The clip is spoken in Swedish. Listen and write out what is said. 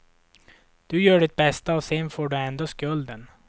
Du gör ditt bästa och sen får du ändå skulden.